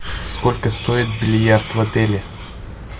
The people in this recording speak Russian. сколько стоит бильярд в отеле